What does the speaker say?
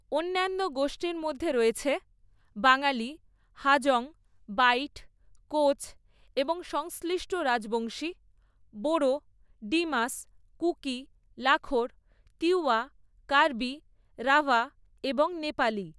অন্যান্য গোষ্ঠীর মধ্যে রয়েছে বাঙালি, হাজং, বাইট, কোচ এবং সংশ্লিষ্ট রাজবংশী, বোরো, ডিমাসা, কুকি, লাখর, তিওয়া, কার্বি, রাভা এবং নেপালি।